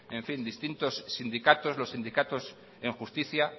distintos sindicatos os sindicatos en justicia